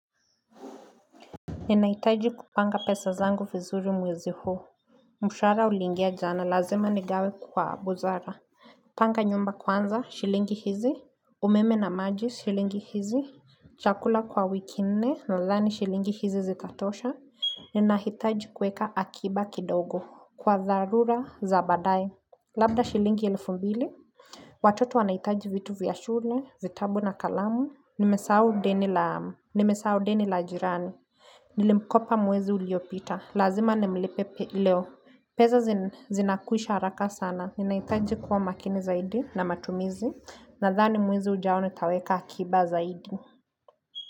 Ninahitaji kupanga pesa zangu vizuri mwezi huu. Mshahara ulingia jana lazima nigawe kwa buzara. Panga nyumba kwanza, shilingi hizi. Umeme na maji, shilingi hizi. Chakula kwa wiki nne, nadhani shilingi hizi zikatosha. Ninahitaji kueka akiba kidogo. Kwa dharura za baadae. Labda shilingi elifu mbili. Watoto wanahitaji vitu vya shule, vitabu na kalamu. Nimesahau deni la jirani. Nilimkopa mwezi uliopita, lazima nimlipe leo Peza zinakwisha haraka sana, ninaitaji kuwa makini zaidi na matumizi Nadhani mwezi ujao nitaweka akiba zaidi.